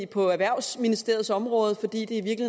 på erhvervsministeriets område fordi det